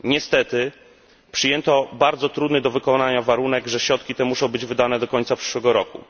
Niestety, przyjęto bardzo trudny do wykonania warunek, że środki te muszą być wydane do końca przyszłego roku.